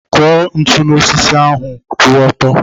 Kụnye ntụ n'osisi ahu kwụ ọtọ.